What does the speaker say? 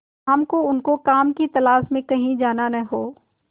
शाम को उनको काम की तलाश में कहीं जाना न हो